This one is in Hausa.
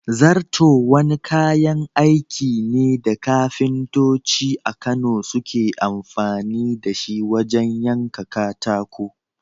Zarto wani kayan aiki ne da kafintoci a Kano suke amfani da shi wajen yanka katako.